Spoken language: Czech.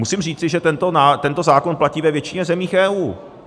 Musím říci, že tento zákon platí ve většině zemí EU.